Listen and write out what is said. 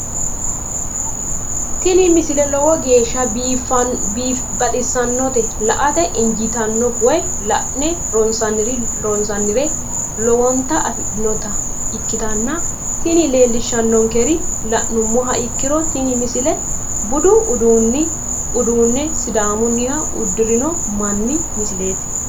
tini misile lowo geeshsha baxissannote la"ate injiitanno woy la'ne ronsannire lowote afidhinota ikkitanna tini leellishshannonkeri la'nummoha ikkiro tini misile budu uduunne sidaamunniha uddirino manni misileeti.